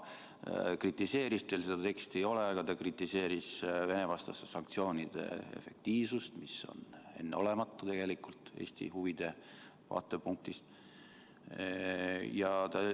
Ta kritiseeris – teil seda teksti ei ole, aga ta kritiseeris – Vene-vastaste sanktsioonide efektiivsust, mis on tegelikult Eesti huvide vaatepunktist enneolematu.